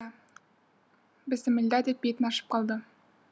иә бісімілда деп бетін ашып қалды